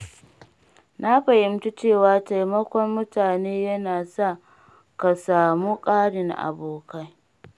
Na fahimci cewa taimakon mutane yana sa ka samu ƙarin abokai.